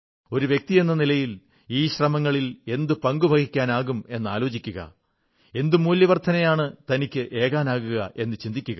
ഒരു വ്യക്തിയെന്ന നിലയിൽ ഈ ശ്രമങ്ങളിൽ എന്തു പങ്കുവഹിക്കാനാകുമെന്നാലോചിക്കുക എന്ത് മൂല്യവർധനയാണ് തനിക്കേകാനാകുക എന്നു ചിന്തിക്കുക